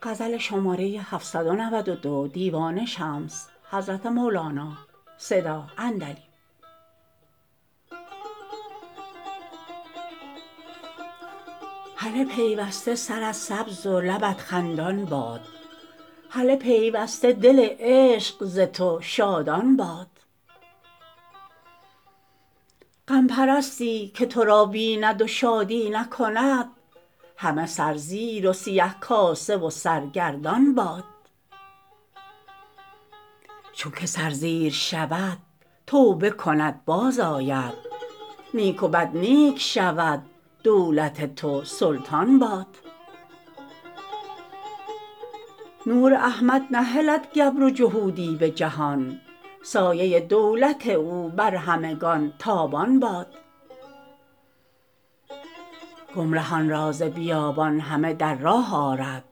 هله پیوسته سرت سبز و لبت خندان باد هله پیوسته دل عشق ز تو شادان باد غم پرستی که تو را بیند و شادی نکند همه سرزیر و سیه کاسه و سرگردان باد چونک سرزیر شود توبه کند بازآید نیک و بد نیک شود دولت تو سلطان باد نور احمد نهلد گبر و جهودی به جهان سایه دولت او بر همگان تابان باد گمرهان را ز بیابان همه در راه آرد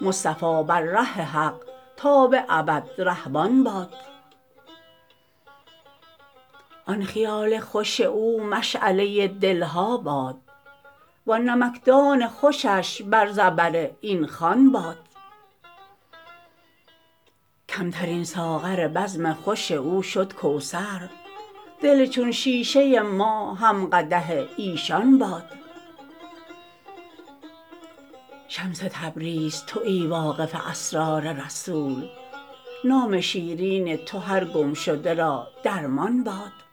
مصطفی بر ره حق تا به ابد رهبان باد آن خیال خوش او مشعله دل ها باد وان نمکدان خوشش بر زبر این خوان باد کمترین ساغر بزم خوش او شد کوثر دل چون شیشه ما هم قدح ایشان باد شمس تبریز توی واقف اسرار رسول نام شیرین تو هر گمشده را درمان باد